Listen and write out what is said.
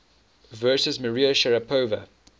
versus maria sharapova